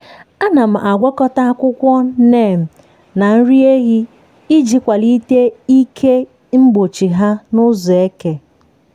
ana m agwakọta akwụkwọ neem na nri ehi iji kwalite ike mgbochi ha n’ụzọ eke.